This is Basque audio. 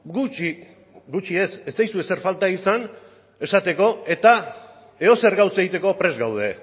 gutxi gutxi ez etzaizu ezer falta izan esateko eta edozer gauza egiteko prest gaude